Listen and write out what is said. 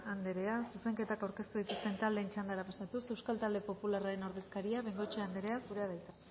andrea zuzenketak aurkeztu dituzten taldeen txandara pasatuz euskal talde popularraren ordezkaria bengoechea andrea zurea da hitza